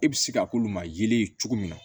E bɛ se ka k'olu ma yelen cogo min na